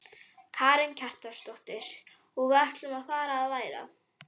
Karen Kjartansdóttir: Og hvað ætlarðu að fara að læra?